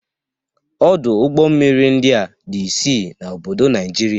Ọdụ ụgbọ mmiri ndia dị isii n'obodo Naịjirịa